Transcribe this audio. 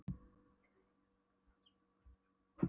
Af því að einkavinkonan var með ofnæmi fyrir honum!